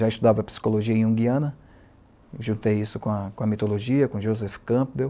Já estudava Psicologia Junguiana, juntei isso com a com a Mitologia, com Joseph Campbell.